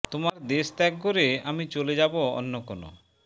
তোমার দেশ ত্যাগ করে আমি চলে যাব অন্য কোন